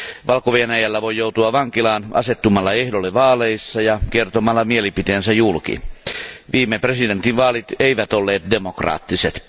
Valko Venäjällä voi joutua vankilaan asettumalla ehdolle vaaleissa tai kertomalla mielipiteensä julki. Viime presidentinvaalit eivät olleet demokraattiset.